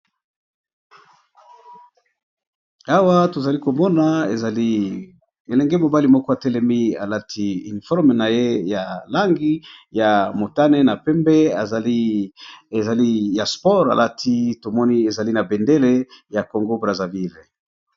Awa tozali komona ezali elenge mobali moko atelemi alati informe na ye ya langi ya motane na pembe ezali ya sports alati tomoni ezali na bendele ya congo brazaville .